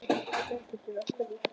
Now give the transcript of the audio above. Berghildur: Hverju?